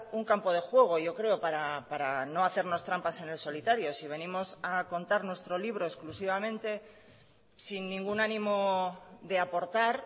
un campo de juego yo creo para no hacernos trampas en el solitario si venimos a contar nuestro libro exclusivamente sin ningún ánimo de aportar